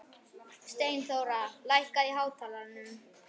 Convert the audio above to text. Steinþóra, lækkaðu í hátalaranum.